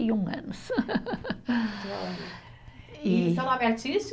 E um anos. E seu nome artístico?